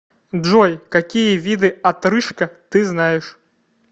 джой какие виды отрыжка ты знаешь